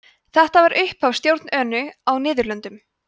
þetta var upphafið að stjórn önu á niðurlöndum